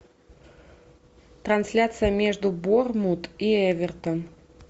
трансляция между борнмут и эвертон